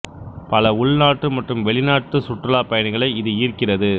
பல உள்நாட்டு மற்றும் வெளிநாட்டு சுற்றுலாப் பயணிகளை இது ஈர்க்கிறது